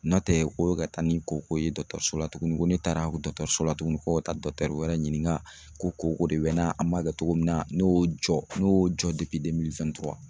N'o tɛ ko bɛ ka taa ni koko ye dɔtɔrsola tugunni ko ne taaradɔtɔrsola tugunni ko ka taa wɛrɛ ɲini ka ko koko de bɛ n na a ma kɛ togo min na, ne y'o jɔ ne y'o jɔ